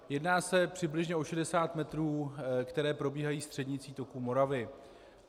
Jedná se přibližně o 60 metrů, které probíhají střednicí toku Moravy.